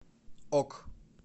ок